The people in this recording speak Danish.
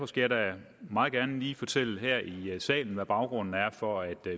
skal da meget gerne lige fortælle her i salen hvad baggrunden er for at